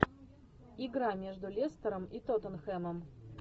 игра между лестером и тоттенхэмом